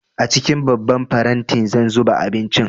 A cikin babban faranti zan zuba abincin